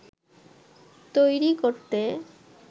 তৈরি করতে